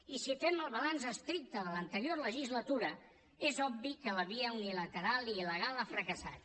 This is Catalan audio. i si fem el balanç estricte de l’anterior legislatura és obvi que la via unilateral i il·legal ha fracassat